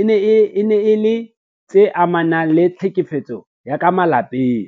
e ne e le tse amanang le tlhekefetso ya ka malapeng.